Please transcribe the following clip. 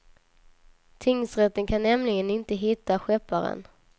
Tingsrätten kan nämligen inte hitta skepparen.